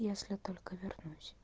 если только вернусь